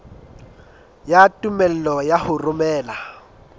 ya tumello ya ho romela